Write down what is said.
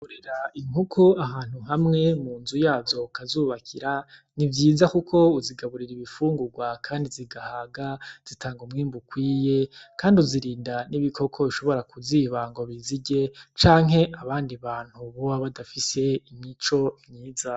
Kugaburira inkoko ahantu hamwe mu nzu yazo ukazubakira ni vyiza kuko uzigaburira ibifungurwa kandi zigahaga zitanga umwimbu ukwiye kandi uzirinda n'ibokoko bishobora kuziba ngo bizirye canke abandi bantu boba badafise imico myiza.